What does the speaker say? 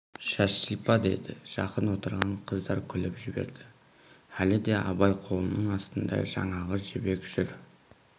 шаш сипа деді жақын отырған қыздар күліп жіберді әлі де абай қолының астында жаңағы жібек жүр